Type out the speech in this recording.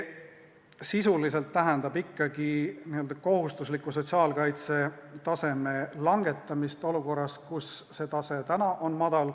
See tähendab sisuliselt ikkagi kohustusliku sotsiaalkaitse taseme langetamist olukorras, kus see tase täna on madal.